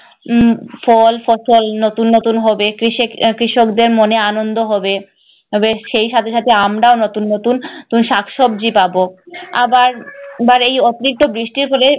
উম ফল ফসল নতুন নতুন হবে, কৃষেক~ কৃষকদের মনে আনন্দ হবে। তবে সেই সাথে সাথে আমরাও নতুন নতুন শাকসবজি পাব। আবার এই অকৃত বৃষ্টি হলে